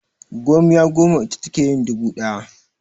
Gomiya goma ita take yin dubu ɗaya.